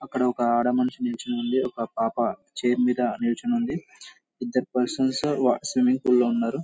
అక్కడ ఒక ఆడ మనిషి నుంచునుంది ఒక పాప చైర్ మీద నిల్చుని ఉంది ఇద్దరు పర్సన్స్ స్విమ్మింగ్ పూల్ లో ఉన్నారు.